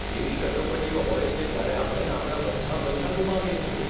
એવી કટોકટીઓ હોય છે જ્યારે આપણે આપણા બધા પૈસા ગુમાવીએ છીએ.